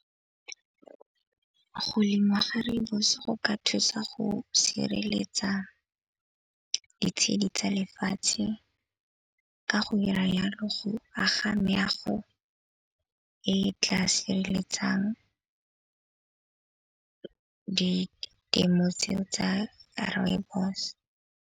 Go lemiwa ga rooibos go ka thusa go sireletsa ditshedi tsa lefatshe ka go dira yalo go aga meago e e tla sireletsang ditemo tseo tsa rooibos.